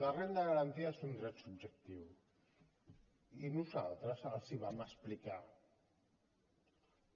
la renda garantida és un dret subjectiu i nosaltres els ho vam explicar